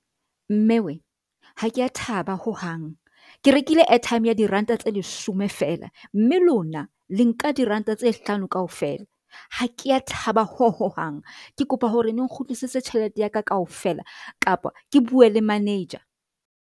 Mme wee, ha ke a thaba hohang. Ke rekile airtime ya diranta tse leshome fela mme lona le nka diranta tse hlano kaofela. Ha ke a thaba ho hohang, ke kopa hore le nkgutlisetse tjhelete ya ka kaofela kapa ke bue le manager.